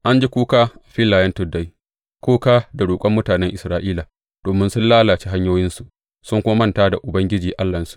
An ji kuka a filayen tuddai, kuka da roƙon mutanen Isra’ila, domin sun lalace hanyoyinsu sun kuma manta da Ubangiji Allahnsu.